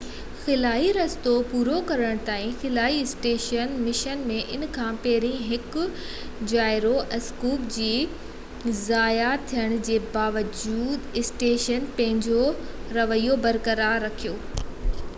خلائي رستو پورو ڪرڻ تائين خلائي اسٽيشن مشن ۾ ان کان پهرين هڪ جائيرو اسڪوپ جي ضايع ٿيڻ جي باوجود اسٽيشن پنهنجو رويو برقرار رکيو